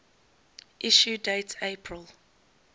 issue date april